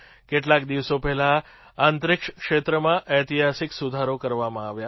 કેટલાક દિવસો પહેલાં અંતરિક્ષ ક્ષેત્રમાં ઐતિહાસિક સુધારો કરવામાં આવ્યા